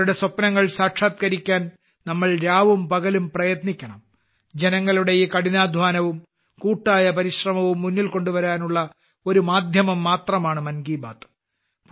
അവരുടെ സ്വപ്നങ്ങൾ സാക്ഷാത്കരിക്കാൻ നമ്മൾ രാവും പകലും പ്രയത്നിക്കണം ജനങ്ങളുടെ ഈ കഠിനാധ്വാനവും കൂട്ടായ പരിശ്രമവും മുന്നിൽ കൊണ്ടുവരാനുള്ള ഒരു മാധ്യമം മാത്രമാണ് മൻ കി ബാത്ത്